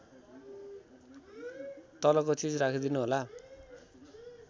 तलको चीज राखिदिनुहोला